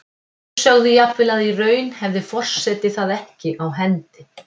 Sumir sögðu jafnvel að í raun hefði forseti það ekki á hendi.